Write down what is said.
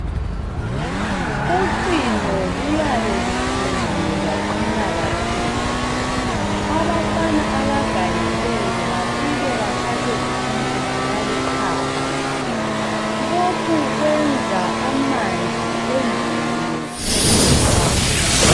Ucingo luyabe luthungiwe lwaqina kakhulu abafana abagangileyo bafike bathathe ipintshisi baluqhaqhe lokhu kwenza amanzi engene kakhulu.